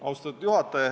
Austatud juhataja!